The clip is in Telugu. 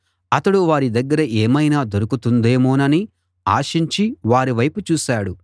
అతడు వారి దగ్గర ఏమైనా దొరుకుతుందేమోనని ఆశించి వారివైపు చూశాడు